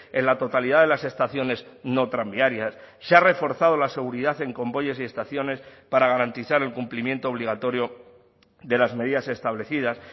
en la totalidad de las estaciones no tranviarias se ha reforzado la seguridad en convoyes y estaciones para garantizar el cumplimiento obligatorio de las medidas establecidas